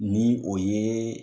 Ni o ye